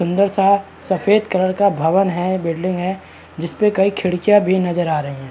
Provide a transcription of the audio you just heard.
सुन्दर सा सफ़ेद कलर का भवन है। बिल्डिंग है जिस पे कई खिड़कियां भी नजर आ रहीं हैं।